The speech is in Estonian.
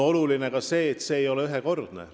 Oluline on ka see, et see ei ole ühekordne tõus.